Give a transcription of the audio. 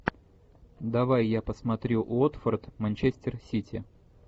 давай я посмотрю уотфорд манчестер сити